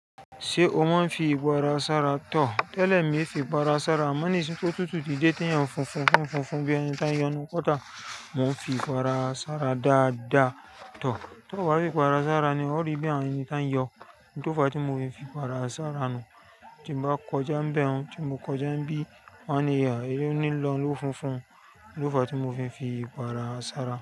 Ṣé o máa ń fi ìwàrà sára tọ̀? Tẹ́lẹ̀ mi fi ìpara sára, àmọ ní sín ti òtútù ti dé tí ènìyàn fún fún fún fún fún bí ènì tá ń yọnu kọ́ta. Mo ń fi ìpara sára dáadáa tọ̀, tó bá fi ìpara sára ni ó rí bí àwọn ènì tá ń yọ. N tòfa tí mo fi n fi ìpara sára nu, tí n bá kọjá nbe hun, tí mo kọjá n bí, wọ́n á ní "oun ni n lọ́ lọ funfun", ni n tòfa tí mo fi n fi ìpàrà sára.